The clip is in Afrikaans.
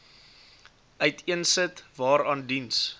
uiteensit waaraan diens